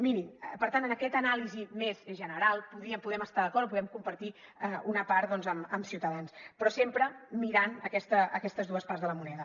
mirin per tant en aquesta anàlisi més general podem estar d’acord o en podem compartir una part doncs amb ciutadans però sempre mirant aquestes dues parts de la moneda